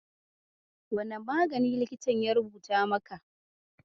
Wane magani likitan ya rubuta maka?